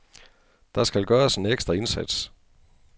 Der skal gøres en ekstra indsats.